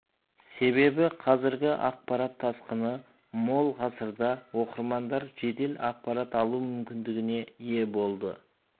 себебі қазіргі ақпарат тасқыны мол ғасырда оқырмандар жедел ақпарат алу мүмкіндігіне ие болды